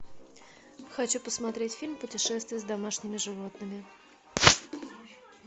хочу посмотреть фильм путешествие с домашними животными